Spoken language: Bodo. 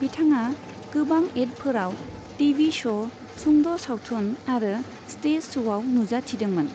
बिथाङा गोबां एडफोराव, टीवी श', सुंद सावथुन आरो स्टेज श'आव नुजाथिदोंमोन।